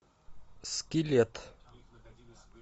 скелет